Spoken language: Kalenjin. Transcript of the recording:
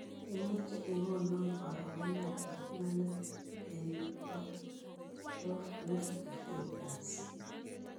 Imuche igonoo karogenetap imanit en po dow nifty futures